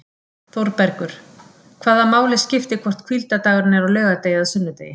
ÞÓRBERGUR: Hvaða máli skiptir hvort hvíldardagurinn er á laugardegi eða sunnudegi!